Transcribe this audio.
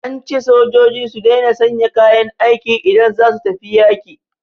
An ce sojoji su daina sanya kayan aiki idan za su tafi yaƙi